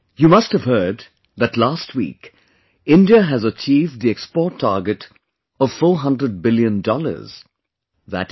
You must have heard that last week, India has achieved the export target of 400 billion, i